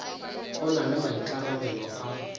o na le maikarabelo a